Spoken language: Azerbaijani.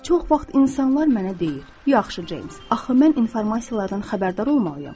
Çox vaxt insanlar mənə deyir: Yaxşı Ceyms, axı mən informasiyalardan xəbərdar olmalıyam.